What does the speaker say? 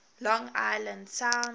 long island sound